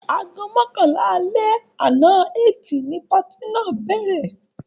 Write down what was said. Aago mọ́kànlá alẹ́ àná Ẹtì ni patí náà bẹ̀rẹ̀.